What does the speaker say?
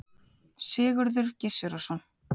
Sigurður Gizurarson.